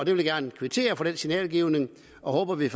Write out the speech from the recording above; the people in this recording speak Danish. vil gerne kvittere for den signalgivning og håber at vi